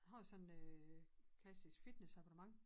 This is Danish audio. Har sådan øh klassisk fitness abonnement